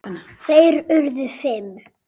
Þeir urðu fimm.